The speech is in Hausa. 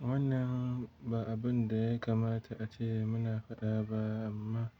Wannan ba abun da ya kamata ace muna faɗa ba amma